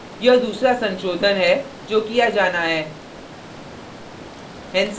यह दूसरा संशोधन है जो किया जाना है